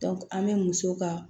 an bɛ muso ka